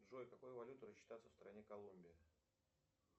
джой какой валютой рассчитаться в стране колумбия